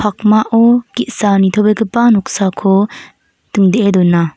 pakmao ge·sa nitobegipa noksako dingdee dona.